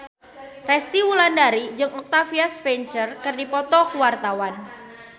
Resty Wulandari jeung Octavia Spencer keur dipoto ku wartawan